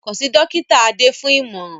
Kàn sí Dọ́kítà Adé fún ìmọ̀ràn